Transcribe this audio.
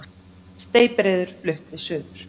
Steypireyður flutt suður